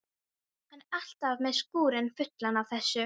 Hann er alltaf með skúrinn fullan af þessu.